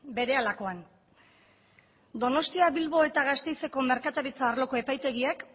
berehalakoan donostia bilbo eta gasteizeko merkataritza arloko epaitegiek